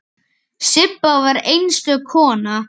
Sibba var einstök kona.